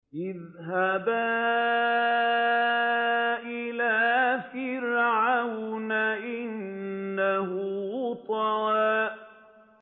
اذْهَبَا إِلَىٰ فِرْعَوْنَ إِنَّهُ طَغَىٰ